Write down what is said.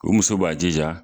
O muso b'a jija